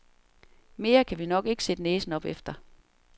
Mere kan vi nok ikke sætte næsen op efter.